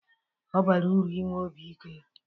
Ọ bara uru inwe obi ike